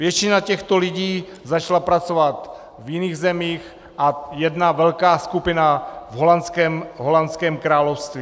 Většina těchto lidí začala pracovat v jiných zemích a jedna velká skupina v holandském království.